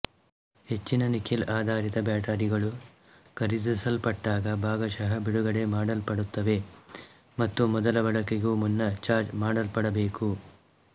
ಹೆಚ್ಚಿನ ನಿಕ್ಕೆಲ್ಆಧಾರಿತ ಬ್ಯಾಟರಿಗಳು ಖರೀದಿಸಲ್ಪಟ್ಟಾಗ ಭಾಗಶಃ ಬಿಡುಗಡೆ ಮಾಡಲ್ಪಡುತ್ತವೆ ಮತ್ತು ಮೊದಲ ಬಳಕೆಗೂ ಮುನ್ನ ಚಾರ್ಜ್ ಮಾಡಲ್ಪಡಬೇಕು